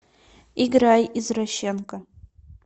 играй извращенка